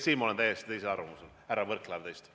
Siin ma olen täiesti teisel arvamusel, härra Võrklaev, kui teie.